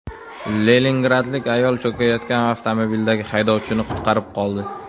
Leningradlik ayol cho‘kayotgan avtomobildagi haydovchini qutqarib qoldi.